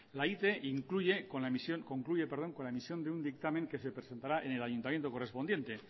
la ite concluye con la emisión de un dictamen que se presentará en el ayuntamiento correspondiente